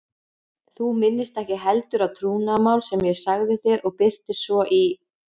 Þú minnist ekki heldur á trúnaðarmál sem ég sagði þér og birtist svo í